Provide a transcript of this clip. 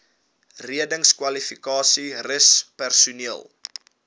reddingskwalifikasies rus personeel